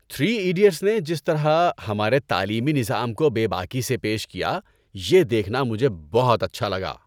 Three idiots نے جس طرح ہمارے تعلیمی نظام کو بے باکی سے پیش کیا یہ دیکھنا مجھے بہت اچھا لگا۔